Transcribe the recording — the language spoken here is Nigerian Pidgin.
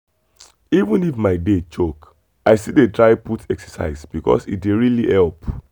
even if my day choke i still dey try put exercise because e dey really help.